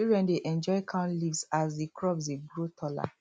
children dey enjoy count leaves as the crops dey grow taller